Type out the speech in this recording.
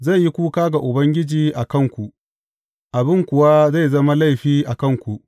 Zai yi kuka ga Ubangiji a kanku, abin kuwa zai zama laifi a kanku.